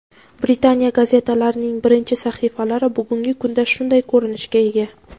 Britaniya gazetalarining birinchi sahifalari bugungi kunda shunday ko‘rinishga ega.